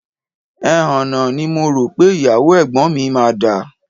Ẹhànnà ni mo rò pé ìyàwó ẹ̀gbọ́n mi máa dà